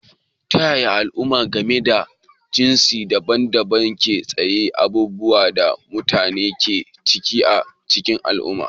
Ta yaya halayen al'umma game da jinsi daban-daban ke tasiri abubuwan da mutane ke ciki a cikin al'umma?